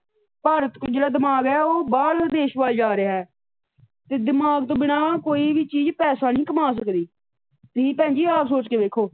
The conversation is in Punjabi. ਭਾਰਤ ਕੋਲ ਜਿਹੜਾ ਦਿਮਾਗ ਹੈ ਉਹ ਬਾਹਰਲੇ ਦੇਸ਼ ਵੱਲ ਜਾ ਰਿਹਾ ਹੈ। ਤੇ ਦਿਮਾਗ ਤੋਂ ਬਿਨਾਂ ਕੋਈ ਵੀ ਚੀਜ ਪੈਸਾ ਨਹੀ ਕਮਾਂ ਸਕਦੀ ਤੁਸੀ ਭੈਣ ਜੀ ਆਹ ਸੋਚ ਕੇ ਵੇਖੋ।